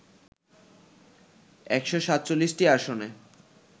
১৪৭টি আসনে